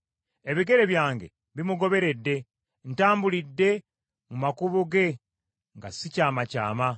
Ebigere byange bimugoberedde; ntambulidde mu makubo ge nga sikyamakyama.